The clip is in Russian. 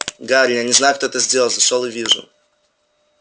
гарри я не знаю кто это сделал зашёл и вижу